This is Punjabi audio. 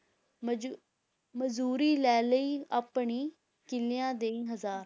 ਮਜ~ ਮਜ਼ਦੂਰੀ ਲੈ ਲਈ ਆਪਣੀ, ਕਿੱਲੀਆਂ ਦੇਈਂ ਹਜ਼ਾਰ,